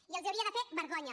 i els hauria de fer vergonya